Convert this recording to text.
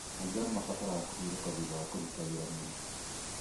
Maitho nĩ mabataraga kũhurũka thutha wa kũruta wĩra mũritũ.